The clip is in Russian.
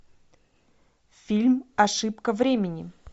фильм ошибка времени